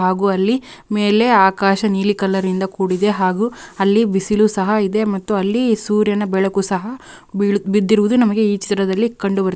ಹಾಗು ಅಲ್ಲಿ ಆಕಾಶ ನೀಲಿ ಕಲರಿಂದ ಕೂಡಿದೆ .ಹಾಗು ಅಲ್ಲಿ ಬಿಸಿಲು ಸಹ ಇದೆ ಅಲ್ಲಿ ಸೂರ್ಯನ ಬೆಳಕು ಸಹ ಬಿದ್ದಿರುವುದು ನಮಗೆ ಈ ಚಿತ್ರದಲ್ಲಿ --